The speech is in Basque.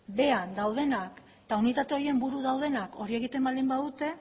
behean daudenak eta unitate horien buru daudenak hori egiten baldin badute